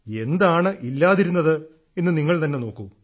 എന്താണ് ഇല്ലാതിരുന്നത് എന്ന് നിങ്ങൾ തന്നെ നോക്കൂ